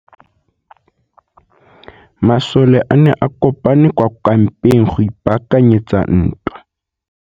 Masole a ne a kopane kwa kampeng go ipaakanyetsa ntwa.